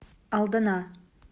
алдана